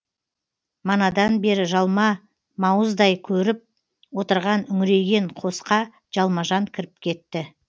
манадан бері жалма мауыздай көріп отырған үңірейген қосқа жалма жан кіріп кетті